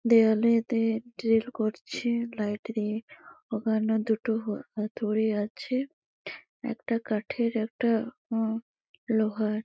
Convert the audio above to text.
দেওয়ালে তে ড্রিল করছেএ লাইট দিয়ে। ওখানে দুটো হ হাতুড়ি আছে একটা কাঠের একটা উ লোহার।